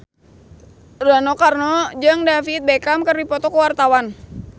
Rano Karno jeung David Beckham keur dipoto ku wartawan